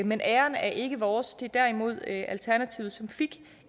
men æren er ikke vores det er derimod alternativets som fik